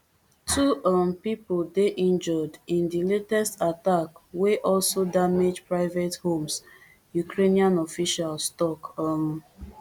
two um pipo bin dey injured in di latest attack wey also damage private homes ukrainian officials tok um